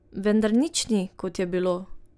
Vendar nič ni, kot je bilo.